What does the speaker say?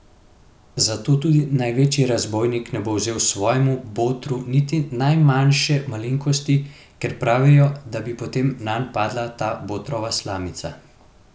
Zato tudi največji razbojnik ne bo vzel svojemu botru niti najmanjše malenkosti, ker pravijo, da bi potem nanj padla ta botrova slamica.